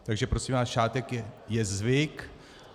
Takže prosím vás, šátek je zvyk.